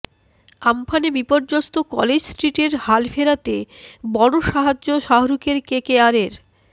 আম্ফানে বিপর্যস্ত কলেজ স্ট্রিটের হাল ফেরাতে বড় সাহায্য শাহরুখের কেকেআরের